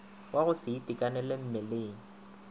wa go se itekanele mmeleng